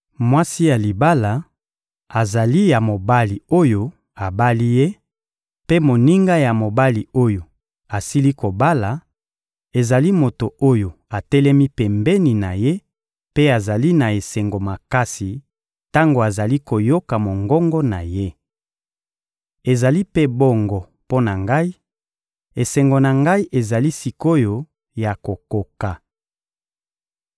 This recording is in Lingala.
Mwasi ya libala azali ya mobali oyo abali ye; mpe moninga ya mobali oyo asili kobala, ezali moto oyo atelemi pembeni na ye mpe azali na esengo makasi tango azali koyoka mongongo na ye. Ezali mpe bongo mpo na ngai: esengo na ngai ezali sik’oyo ya kokoka.